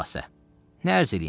Xülasə, nə ərz eləyim?